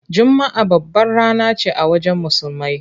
Juma’a babbar rana ce a wajen Musulmai.